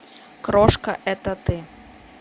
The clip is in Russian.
крошка это ты